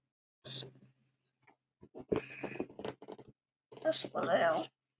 Ösp og Leó.